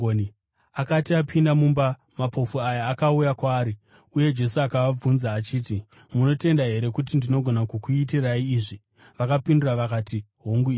Akati apinda mumba, mapofu aya akauya kwaari, uye Jesu akavabvunza achiti, “Munotenda here kuti ndinogona kukuitirai izvi?” Vakapindura vakati, “Hongu, Ishe.”